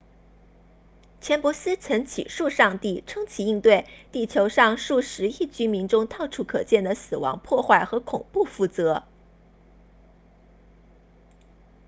钱伯斯曾起诉上帝称其应对地球上数十亿居民中到处可见的死亡破坏和恐怖负责